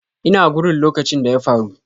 Ina gurin lokacin da ya faru.